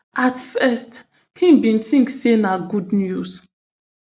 at first im bin tink say na good news